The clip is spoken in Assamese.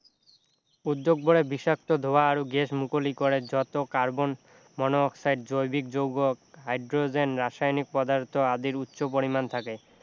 উদ্যোগবোৰে বিষাক্ত ধোৱা আৰু গেছ মুকলি কৰে যত কাৰ্বন-মন-অক্সাইড জৈৱিক যৌগ হাইড্ৰজেন ৰাসায়নিক পদাৰ্থ আদিৰ উচ্চ পৰিমাণ থাকে